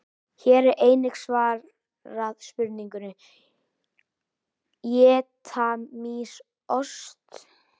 Hér er einnig svarað spurningunni: Éta mýs ost?